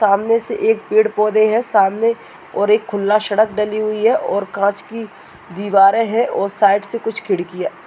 सामने से एक पेड़ पौधे हैं। सामने और एक खुला शडक डली हुई है और कांच की दीवारें हैं और साइड से कुछ खिड़कियां --